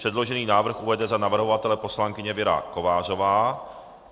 Předložený návrh uvede za navrhovatele poslankyně Věra Kovářová.